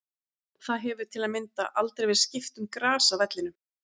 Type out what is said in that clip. Það hefur til að mynda aldrei verið skipt um gras á vellinum.